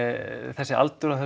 þessi aldur á